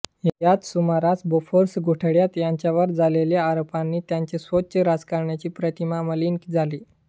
याच सुमारास बोफोर्स घोटाळ्यात त्यांच्यावर झालेल्या आरोपांनी त्यांची स्वच्छ राजकारण्याची प्रतिमा मलिन झाली